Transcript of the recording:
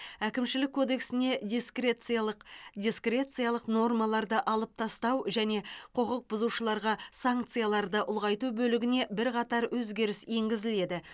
әкімшілік кодексіне дискрециялық дискрециялық нормаларды алып тастау және құқық бұзушыларға санкцияларды ұлғайту бөлігіне бірқатар өзгеріс енгізіледі